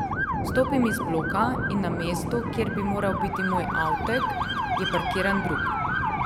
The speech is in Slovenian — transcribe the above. Stopim iz bloka in na mestu, kjer bi moral biti moj avtek, je parkiran drug.